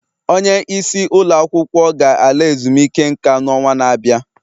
Onye isi ụlọ akwụkwọ ga-ala ezumike nka n'ọnwa na-abịa